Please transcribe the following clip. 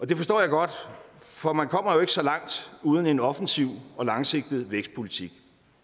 det forstår jeg godt for man kommer jo ikke så langt uden en offensiv og langsigtet vækstpolitik